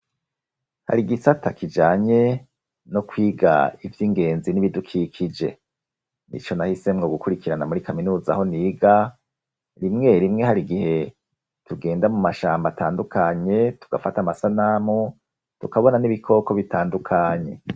Hari gisata kijanye no kwiga ivy'ingenzi n'ibidukikije nicyo nahisemwo gukurikirana muri kaminuza ho niga rimwe rimwe hari gihe tugenda mu mashamba atandukanye tugafata amasanamu, tukabona n'ibikoko bitandukanye.